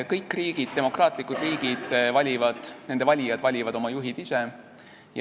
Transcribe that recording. Kõigi demokraatlike riikide valijad valivad oma juhid ise.